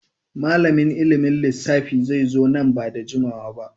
Malamin ilimin lissafi zai zo nan ba da jimawa ba.